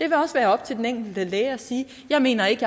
også være op til den enkelte læge at sige jeg mener ikke